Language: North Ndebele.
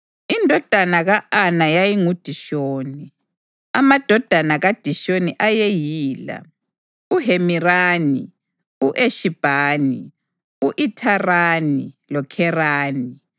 Indodana ka-Ana yayingu: uDishoni. Amadodana kaDishoni ayeyila: uHemirani, u-Eshibhani, u-Ithirani loKherani.